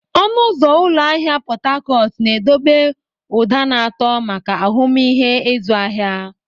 Ọnụ ụzọ ụlọ ahịa Pot Tarcot na-edobe ụda na-atọ maka ahụmịhe ịzụ ahịa.